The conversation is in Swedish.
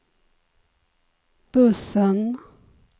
bussen